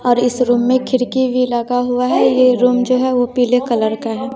और इस रूम में खिड़की भी लगा हुआ है ये रूम जो है वो पीले कलर का है।